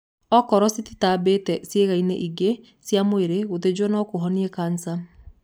Okorwo cititambĩte ciĩga-inĩ ingĩ cia mwĩrĩ, gũthĩnjwo no kũhonie kanca.